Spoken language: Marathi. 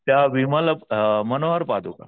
त्या विमल्य अ मनोहर पादुका.